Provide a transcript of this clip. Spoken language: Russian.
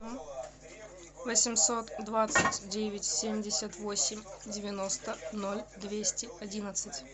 восемьсот двадцать девять семьдесят восемь девяносто ноль двести одиннадцать